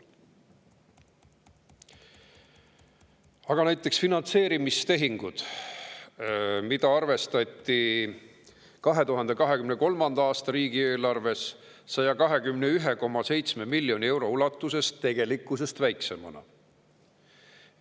Aga näiteks ka finantseerimistehinguid arvestati 2023. aasta riigieelarves 121,7 miljoni euro ulatuses tegelikkusest väiksemana.